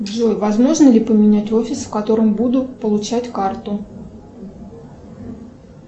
джой возможно ли поменять офис в котором буду получать карту